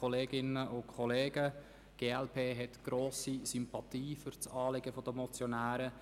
Die glp hat grosse Sympathien für das Anliegen der Motionäre.